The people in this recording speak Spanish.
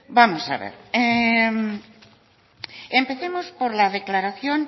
vamos a ver empecemos por la declaración